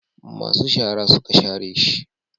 masu shara suka share shi